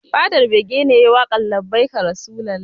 Fadar bege ne yayi waƙar labbaika rasulullah